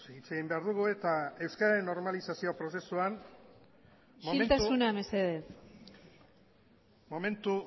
hitz egin behar dugu isiltasuna mesedez euskararen normalizazio prozesuan momentu